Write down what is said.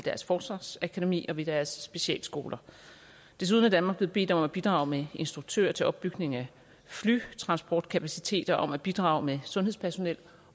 deres forsvarsakademi og ved deres specialskoler desuden er danmark blevet bedt om at bidrage med instruktører til opbygning af flytransportkapacitet og om at bidrage med sundhedspersonel